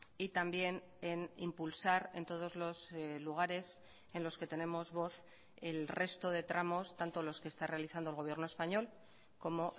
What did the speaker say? y también en impulsar en todos los lugares en los que tenemos voz el resto de tramos tanto los que está realizando el gobierno español como